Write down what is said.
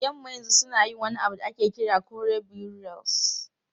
Yamma yanzu suna yin wani abu da ake kira kore burials.